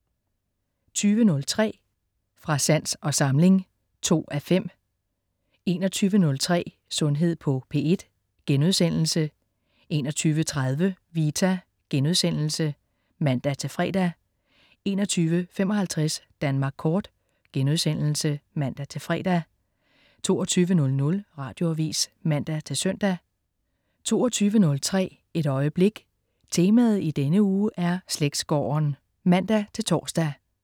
20.03 Fra sans og samling 2:5 21.03 Sundhed på P1* 21.30 Vita* (man-fre) 21.55 Danmark kort* (man-fre) 22.00 Radioavis (man-søn) 22.03 Et øjeblik. Temaet i denne uge er "slægtsgården" (man-tors)